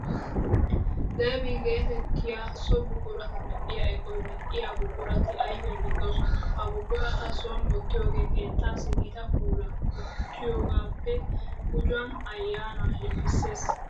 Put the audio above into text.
Deevi geetettiya so buqurata medhdhiya eqoy medhdhiyo buqurati ayfiya caddoosona. Ha buqurata soon wottiyogee keettaassi gita puulaa gujjiyogaappe gujuwan ayyaannaaa shemppissees.